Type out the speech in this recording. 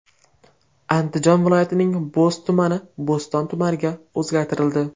Andijon viloyatining Bo‘z tumani Bo‘ston tumaniga o‘zgartirildi.